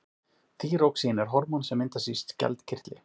þýróxín er hormón sem myndast í skjaldkirtli